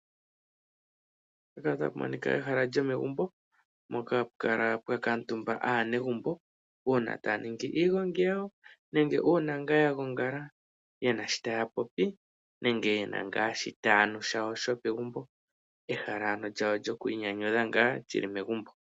Mpaka otapu monika ehala lyomegumbo mpoka hapu kala pwa kuutumba aanegumbo, uuna taya ningi iigongi yawo nenge uuna ngaa ya gongala ye na sho taya popi nenge ye na ngaa shita ya nu shawo sho pegumbo. Ehala ano lyawo lyokwiinyanyudha lyili megumbo.